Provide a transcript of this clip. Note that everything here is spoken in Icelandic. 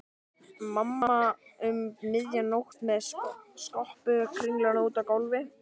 Mamma um miðja nótt með skopparakringlu úti á gólfi.